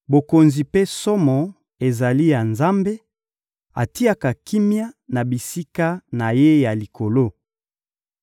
«Bokonzi mpe somo ezali ya Nzambe; atiaka kimia na bisika na Ye ya likolo.